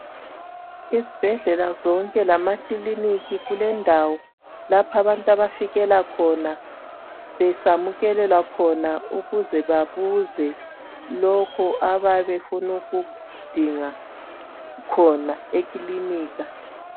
Ezibhedlela zonke lemakilinika kulendawo lapho abantu abafikela khona besamukelelwa khona ukuze babuze lokho abayabe befuna ukudinga khona ekilinika.